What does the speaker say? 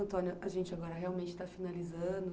Antônio, a gente agora realmente está finalizando.